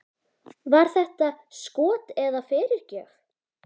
Var þetta skot eða fyrirgjöf?